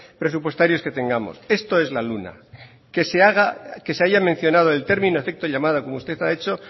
presupuestarios que tenemos esto es la luna que se haya mencionado el término efecto llamada como usted ha hecho